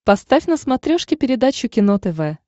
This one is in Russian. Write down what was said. поставь на смотрешке передачу кино тв